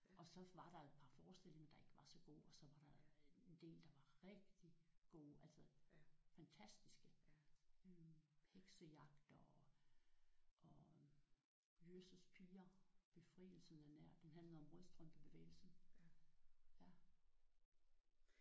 Og så var der jo et par forestillinger der ikke var så gode og så var der en del der var rigtigt gode. Altså fantastiske. Heksejagt og og Jøsses piger befrielsen er nær. Den handlede om rødstrømpebevægelsen